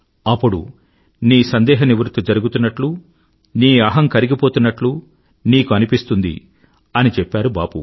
అప్పుడు నీ సందేహ నివృత్తి జరుగుతున్నట్లు నీ అహం కరిగిపోతున్నట్లు నీకు అనిపిస్తుంది అని చెప్పారు బాపూ